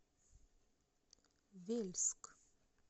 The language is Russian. вельск